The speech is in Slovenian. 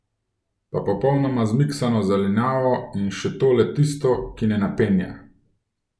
Pa popolnoma zmiksano zelenjavo, in še to le tisto, ki ne napenja.